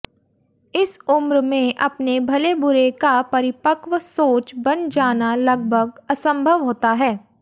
इस उम्र मे अपने भले बुरे का परिपक्व सोच बन जाना लगभग असम्भव होता है